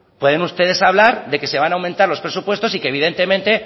pueden ustedes hablar de que se van a aumentar los presupuestos y que evidentemente